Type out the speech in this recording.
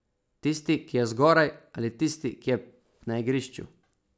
Tisti, ki je zgoraj, ali tisti, ki je na igrišču?